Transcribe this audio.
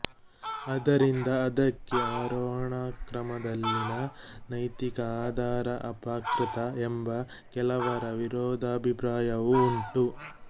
ಆದ್ದರಿಂದ ಅದಕ್ಕೆ ಆರೋಹಣಕ್ರಮದಲ್ಲಿನ ನೈತಿಕ ಆಧಾರ ಅಪ್ರಕೃತ ಎಂದು ಕೆಲವರ ವಿರೋಧಾಭಿಪ್ರಾಯವೂ ಉಂಟು